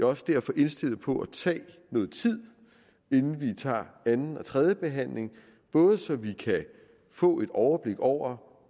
også derfor indstillet på at tage noget tid inden vi tager anden og tredje behandling både så vi kan få et overblik over